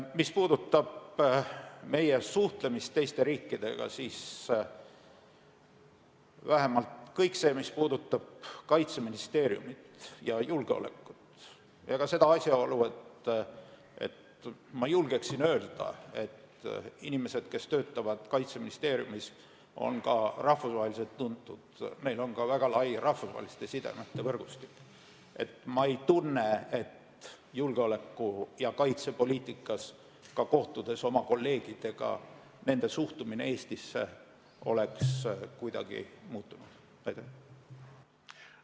Mis puudutab meie suhtlemist teiste riikidega, siis vähemalt kõik see, mis puudutab Kaitseministeeriumi ja julgeolekut ning ka seda asjaolu, ma julgen öelda, et inimesed, kes töötavad Kaitseministeeriumis, on ka rahvusvaheliselt tuntud, et meil on ka väga lai rahvusvaheliste sidemete võrgustik, siis ma ei tunne, et julgeoleku- ja kaitsepoliitikas oleks suhtumine Eestisse kuidagi muutunud, ma ei tunne seda ka kohtudes oma kolleegidega.